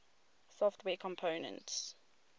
software components